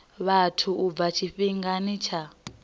vhathu u bva tshifhingani tsha